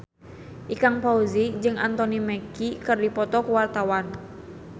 Ikang Fawzi jeung Anthony Mackie keur dipoto ku wartawan